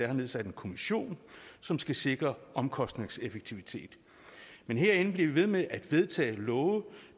har nedsat en kommission som skal sikre omkostningseffektivitet men herinde bliver vi ved med at vedtage love